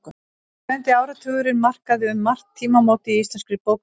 Sjöundi áratugurinn markaði um margt tímamót í íslenskri bókmenntasögu.